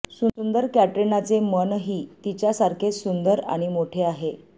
सुंदर कॅटरिनाचे मन ही तिच्या सारखेच सुंदर आणि मोठे आहे